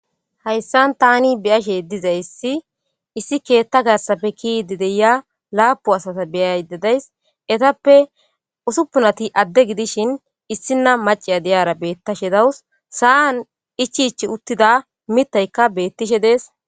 hayssan tani biyashe dizayssi issi keetta gaassappe kidi deya laapu asata beyay dadays etappe usuppunati adde gidishin issina maciya diyara beettashe dawus sa7an ichich uttida mitaykka bettishe dees